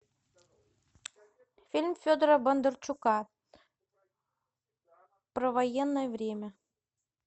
фильм федора бондарчука про военное время